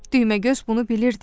Düyməgöz bunu bilirdi.